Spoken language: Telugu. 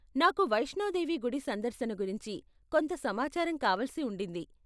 నాకు వైష్ణోదేవి గుడి సందర్శన గురించి కొంత సమాచారం కావలసి ఉండింది.